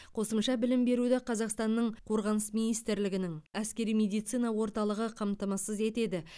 қосымша білім беруді қазақстанның қорғаныс министрлігінің әскери медицина орталығы қамтамасыз етеді